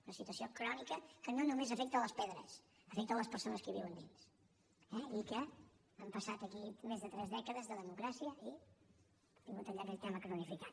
una situació crònica que no només afecta les pedres afecta les persones que hi viuen dins i que han passat aquí més de tres dècades de democràcia i han tingut allà aquell tema cronificat